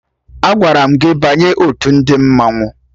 Agwara m gị banye otu ndị mmanwụ!